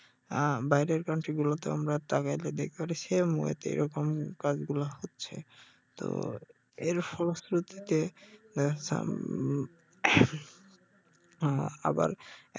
আহ বাইরের কান্ট্রি গুলোতে আমরা তাকাইলে দেখতে পারি সেম ওয়ে তে এইরকম কাজগুলো হচ্ছে তো এর ফলশ্রুতিতে আহ উম আহ আবার